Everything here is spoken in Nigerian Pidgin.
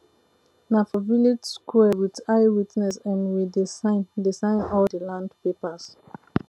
nah for village sqare wit eye witness um we dey sign dey sign all de land papers